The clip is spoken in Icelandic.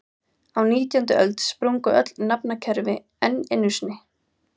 Á nítjándu öld sprungu öll nafnakerfi enn einu sinni.